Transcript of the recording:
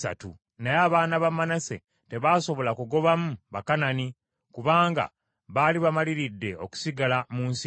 Naye abaana ba Manase tebasobola kugobamu Bakanani kubanga baali bamaliridde okusigala mu nsi eyo.